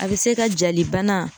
A bɛ se ka jali bana.